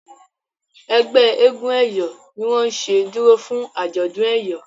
ẹgbẹ éégun eyọ ní wón ṣe dúró fún ajọdún eyọ.